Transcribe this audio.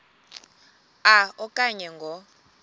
a okanye ngo